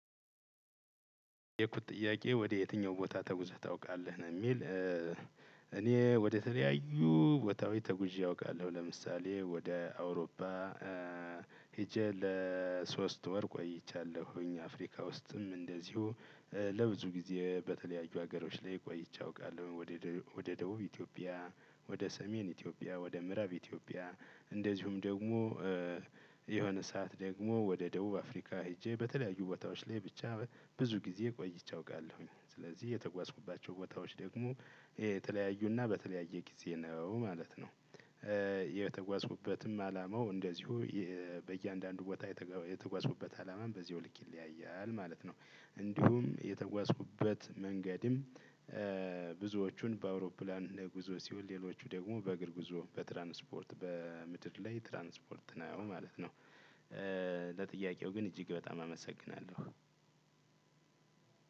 የተጠየኩት ጥያቄ ወደ የትኛው ቦታ ተጉዘህ ታውቃለህ ነው እሚል? እኔ ወደተለያዩ ቦታወች ተጉዤ አውቃለሁ ለምሳሌ ወደ አውሮፓ ሄጄ ለሶስት ወር ቆይቻለሁኝ። አፍሪካ ውስጥም እንደዚሁ ለብዙ ጊዜ በተለያዩ ሀገሮች ላይ ቆይቼ አውቃለሁ። ወደ ደቡብ ኢትዮጵያ ወደ ሰሜን ኢትዮጵያ ወደ ምዕራብ ኢትዮጵያ እንደዚሁም ደግሞ የሆነ ሰዓት ደግሞ ወደ ደቡብ አፍሪካ ሄጄ በተለያዩ ቦታዎች ላይ ብቻ ብዙ ጊዜ ቆይቼ አውቃለሁኝ ስለዚህ የተጓዝኩባቸው ቦታዎች ደግሞ የተለያዩና በተለያየ ጊዜ ነው ማለት ነው። የተጓዝኩበትም አላማው እንደዚሁ በእያንዳንዱ ቦታ የተጓዝኩበት አላማም በዚያው ልክ ይለያያል ማለት ነው። እንዲሁም የተጓዝኩበት መንገድም ብዙዎቹን በአውሮፕላን ጉዞ ሲሆን ሌሎቹ ደግሞ በእግር ጉዞ በትራንስፖርት በምድር ላይ ትራንስፖርት ነው ማለት ነው። ለጥያቄው ግን እጂግ በጣም አመሰግናለሁ።